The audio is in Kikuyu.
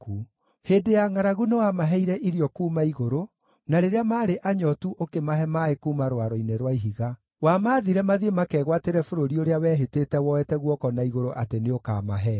Hĩndĩ ya ngʼaragu nĩwamaheire irio kuuma igũrũ, na rĩrĩa maarĩ anyootu ũkĩmahe maaĩ kuuma rwaro-inĩ rwa ihiga; wamaathire mathiĩ makegwatĩre bũrũri ũrĩa wehĩtĩte woete guoko na igũrũ atĩ nĩũkamahe.